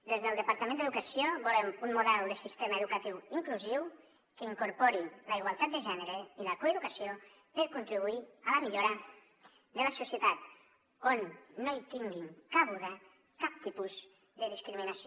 des del departament d’educació volem un model de sistema educatiu inclusiu que incorpori la igualtat de gènere i la coeducació per contribuir a la millora de la societat on no hi tingui cabuda cap tipus de discriminació